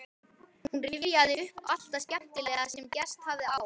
Hún rifjaði upp allt það skemmtilega sem gerst hafði á